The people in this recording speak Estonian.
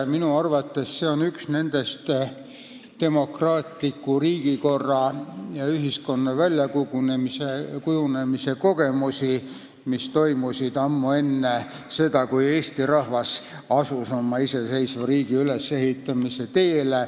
Minu arvates on see üks neid kogemusi demokraatliku riigikorra ja ühiskonna väljakujunemisel, mis saadi ammu enne seda, kui eesti rahvas asus oma iseseisva riigi ülesehitamise teele.